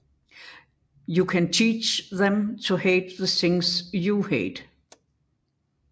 You can teach them to hate the things you hate